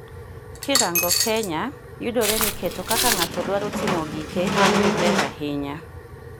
kirango kenya yudore ni keto kaka ngato dwaro timo gike ber ahinya